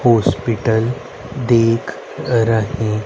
hospital दिख रहे--